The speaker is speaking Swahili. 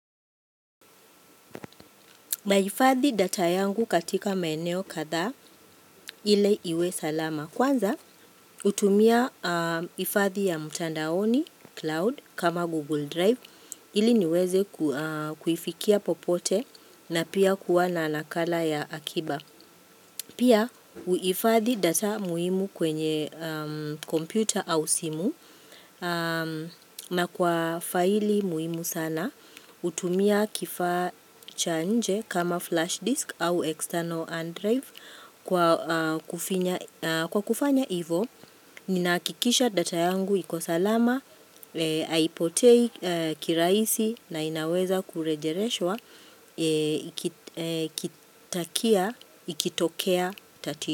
Nahifadhi data yangu katika maeneo kadhaa ili iwe salama. Kwanza hutumia ifadhi ya mtandaoni cloud kama Google Drive ili niweze kuifikia popote na pia kuwa na nakala ya akiba. Pia huifadhi data muhimu kwenye kompyuta au simu na kwa faili muhimu sana hutumia kifaa cha nje kama flash disk au external hard drive. Kwa kufanya hivo, ninahakikisha data yangu iko salama, haipotei kirahisi na inaweza kurejereshwa, ikitokea, tatizo.